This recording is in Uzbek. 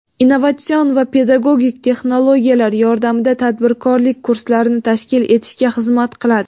innovatsion va pedagogik texnologiyalar yordamida tadbirkorlik kurslarini tashkil etishga xizmat qiladi.